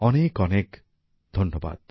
অনেক অনেক ধন্যবাদ